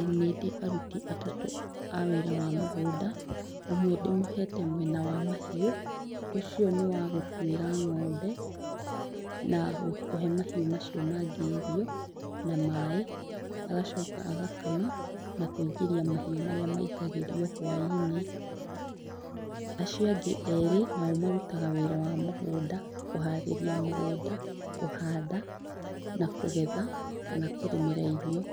ĩĩ nĩndĩ aruti atatũ a wĩra wa mũgũnda. ũmwe ndĩmũhete mwena wa mahiũ. ũcio nĩwagũtuĩra ng'ombe na kũhe mahiũ macio mangĩ irio na maĩ. Agocoka agakama na kũingĩria mahiũ marĩa maingagĩrio hũainĩ. Acio angĩ erĩ marutaga wĩra nao marutaga wĩra wa mũgũnda, kũharĩria mũgũnda, kũhanda na kũgetha kana kũrĩmĩra irio.